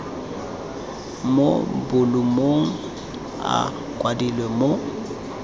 mo bolumong a kwadilwe mo